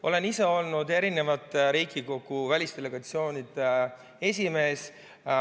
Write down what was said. Olen ise olnud Riigikogu välisdelegatsioonide esimees.